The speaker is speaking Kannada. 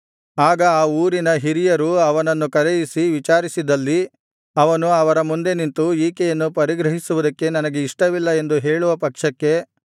ಆಗ ಆ ಊರಿನ ಹಿರಿಯರು ಅವನನ್ನು ಕರೆಯಿಸಿ ವಿಚಾರಿಸಿದಲ್ಲಿ ಅವನು ಅವರ ಮುಂದೆ ನಿಂತು ಈಕೆಯನ್ನು ಪರಿಗ್ರಹಿಸುವುದಕ್ಕೆ ನನಗೆ ಇಷ್ಟವಿಲ್ಲ ಎಂದು ಹೇಳುವ ಪಕ್ಷಕ್ಕೆ